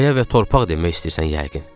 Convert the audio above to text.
Qaya və torpaq demək istəyirsən yəqin.